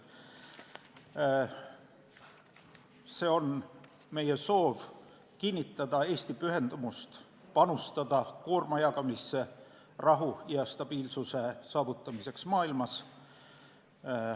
Nimelt, see on meie soov kinnitada Eesti pühendumust panustada koorma jagamisse rahu ja stabiilsuse saavutamiseks maailmas.